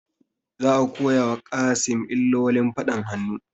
Za a koya wa Kassim illolin faɗan hannu